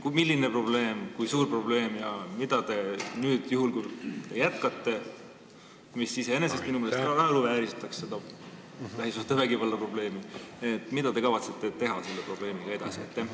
Kui on, siis milline, kui suur probleem see on ja mida te juhul, kui te jätkate – mis iseenesest minu meelest naeruvääristaks lähisuhtevägivalla probleemi suhtumist –, kavatsete selle lahendamisel edasi teha?